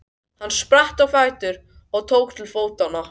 Hann spratt á fætur og tók til fótanna.